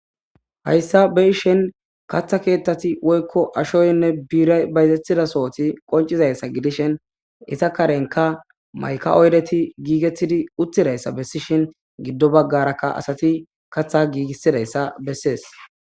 Hayssa beishen katha keettati woykko ashoynne biiray bayzetidasooti qoncizayssa gidishin isa karenka mayka oydeti giigettidi uttidayssa bessishin giddo baggarakka asati katha giigisidayssa bessees.